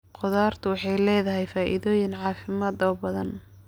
Khudradu waxay leedahay faa'iidooyin caafimaad oo badan.